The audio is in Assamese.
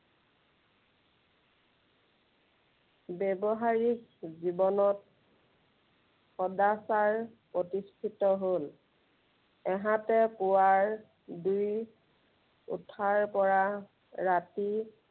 ব্য়ৱহাৰিক জীৱনত সদাচাৰ প্ৰতিষ্ঠিত হল। এহাতে পুৱাৰ বেলি উঠাৰে পৰা ৰাতি